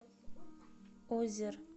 озер